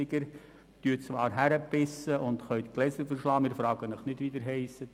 » Sie dürfen zwar hinpissen und Gläser zerschlagen, aber wir fragen nicht, wie sie heissen.